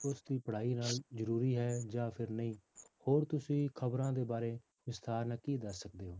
ਉਸਦੀ ਪੜ੍ਹਾਈ ਨਾਲ ਜ਼ਰੂਰੀ ਹੈ ਜਾਂ ਫਿਰ ਨਹੀਂ ਹੋਰ ਤੁਸੀਂ ਖ਼ਬਰਾਂ ਦੇ ਬਾਰੇ ਵਿਸਥਾਰ ਨਾਲ ਕੀ ਦੱਸ ਸਕਦੇ ਹੋ